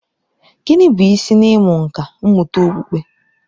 Gịnị bụ isi n'ịmụ nkà mmụta okpukpe?